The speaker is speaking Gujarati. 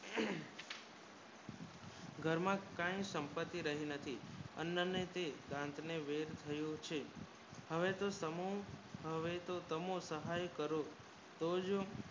ઘરમાં કાય સંપત્તિરહી નથી અનંત દત્ત ને વેદ થયું છે હવે તો સમૂહ સહાય કરો